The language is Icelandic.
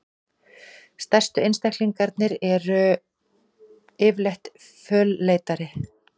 Stærstu einstaklingarnir eru yfirleitt fölleitari.